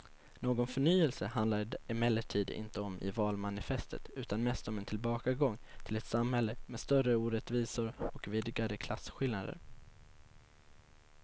Någon förnyelse handlar det emellertid inte om i valmanifestet utan mest om en tillbakagång till ett samhälle med större orättvisor och vidgade klasskillnader.